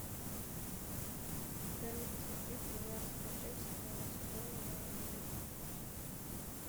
дай мне посмотреть тринадцатую часть седьмого сезон майянцы